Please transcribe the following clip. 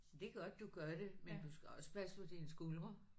Det er godt du gør det men du skal også passe på dine skuldre